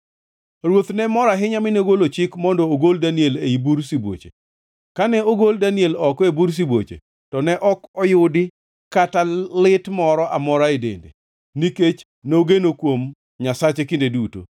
Ruoth ne mor ahinya mi nogolo chik mondo ogol Daniel ei bur sibuoche. Kane ogol Daniel oko e bur sibuoche, to ne ok noyudi kama lit moro amora e dende, nikech nogeno kuom Nyasache kinde duto.